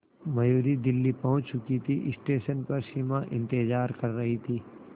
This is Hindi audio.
मयूरी दिल्ली पहुंच चुकी थी स्टेशन पर सिमा इंतेज़ार कर रही थी